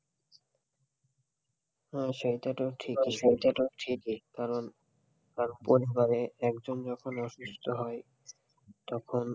হ্যাঁ, সেইটা তো ঠিক ই কারণ পরিবারে একজন যখন অসুস্থ হয় তখন,